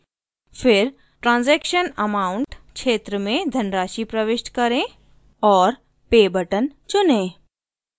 फिर transaction amount क्षेत्र में धनराशि प्रविष्ट करें